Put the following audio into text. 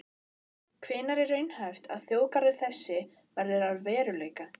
Hvenær er raunhæft að þjóðgarður þessi verði að veruleika?